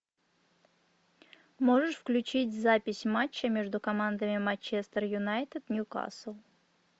можешь включить запись матча между командами манчестер юнайтед ньюкасл